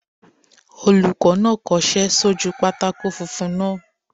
Olùkọ́ náà kọsẹ́ sójú pátákó funfun náà